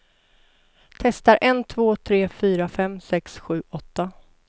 Testar en två tre fyra fem sex sju åtta.